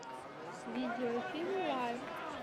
видеофильм лайф